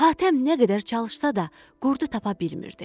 Hatəm nə qədər çalışsa da qurdu tapa bilmirdi.